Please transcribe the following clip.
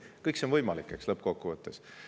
Kõik see on võimalik, eks, lõppkokkuvõttes.